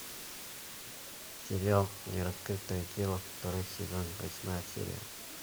сериал нераскрытое дело второй сезон восьмая серия